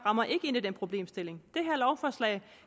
rammer ind i den problemstilling